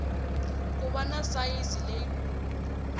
ku va na sayizi leyikulu